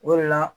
O de la